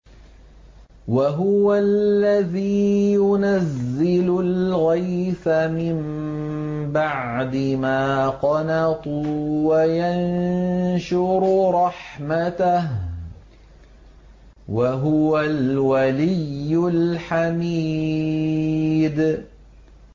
وَهُوَ الَّذِي يُنَزِّلُ الْغَيْثَ مِن بَعْدِ مَا قَنَطُوا وَيَنشُرُ رَحْمَتَهُ ۚ وَهُوَ الْوَلِيُّ الْحَمِيدُ